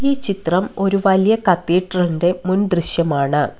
ഈ ചിത്രം ഒരു വലിയ കത്തീഡ്രൽന്റെ മുൻ ദൃശ്യമാണ്.